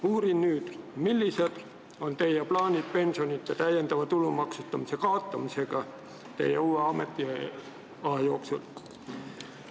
Uurin nüüd, millised on teie plaanid pensionite tulumaksustamisega teie uue ametiaja jooksul?